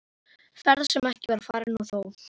Ferð sem ekki var farin- og þó!